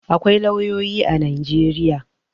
Akwai lauyoyi a Najeriya.